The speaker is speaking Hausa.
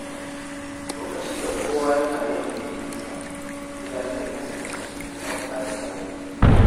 Lokacin da kowa yana yin aikinsa, gida zai kasance cikin tsafta da tsari.